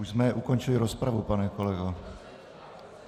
Už jsme ukončili rozpravu, pane kolego.